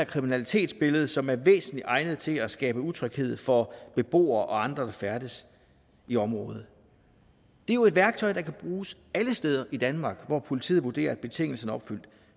kriminalitetsbillede som er væsentlig egnet til at skabe utryghed for beboere og andre der færdes i området det er jo et værktøj der kan bruges alle steder i danmark hvor politiet vurderer at betingelserne